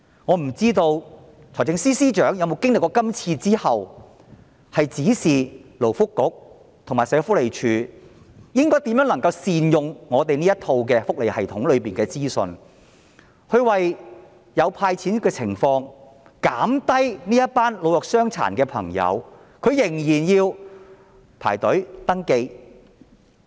我不知道財政司司長經歷今次"派錢"後會否指示勞工及福利局和社署如何善用香港的福利系統裏的資訊，便利市民領錢，免卻老弱傷殘的朋友仍要排隊登記的麻煩。